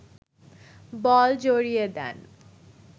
বল জড়িয়ে দেন